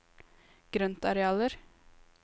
grøntarealer